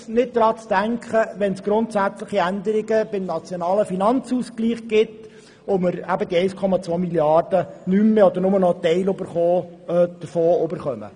Es ist zudem nicht auszudenken, was geschähe, wenn es grundsätzliche Veränderungen beim nationalen Finanzausgleich gäbe und wir die 1,2 Mrd. Franken nicht mehr oder nur noch teilweise erhalten würden.